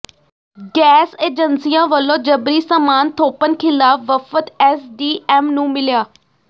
gas ਏਜੰਸੀਆਂ ਵੱਲੋਂ ਜਬਰੀ ਸਾਮਾਨ ਥੋਪਣ ਖ਼ਿਲਾਫ਼ ਵਫ਼ਦ ਐਸਡੀਐਮ ਨੂੰ ਮਿਲਿਆ